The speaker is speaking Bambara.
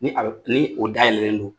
Ni a bɛ ni o da yɛlɛlen don.